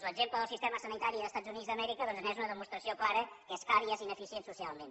l’exemple del sistema sanitari dels estats units d’amèrica doncs és una demostració clara que és car i és ineficient socialment